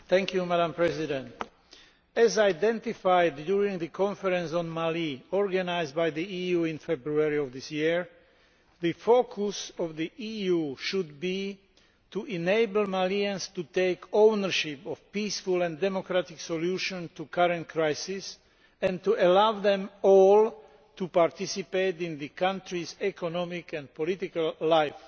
Madam President, as identified during the conference on Mali organised by the EU in February of this year, the focus of the EU should be to enable Malians to take ownership of a peaceful and democratic solution to the current crisis and to allow them all to participate in the country's economic and political life.